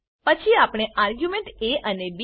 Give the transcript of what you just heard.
પછી આપણે argument A અને બી